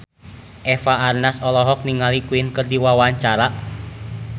Eva Arnaz olohok ningali Queen keur diwawancara